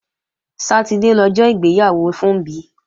Sátidé lọjọ́ ìgbéyàwó Funbí